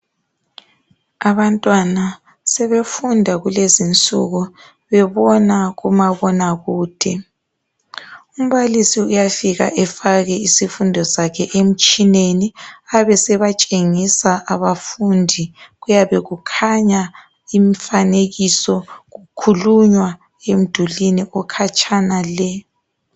Abantwana sebefunda kulezinsuku bebona kumabona kude umbalisi uyafika efake isifundo sakhe emtshineni ebesebetshengisa abafundi kuyabe kukhanya imifanekiso kukhulunywa emdulini ekhatshana le